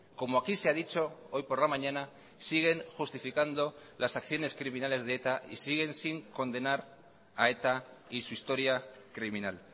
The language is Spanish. como aquí se ha dicho hoy por la mañana siguen justificando las acciones criminales de eta y siguen sin condenar a eta y su historia criminal